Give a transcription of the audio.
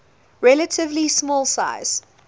relatively small size